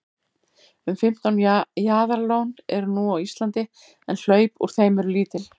um fimmtán jaðarlón eru nú á íslandi en hlaup úr þeim eru lítil